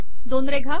दोन रेघा